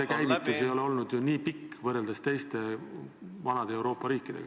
... fondi käivitusaeg ei ole olnud ju nii pikk kui teistel, vanadel Euroopa riikidel.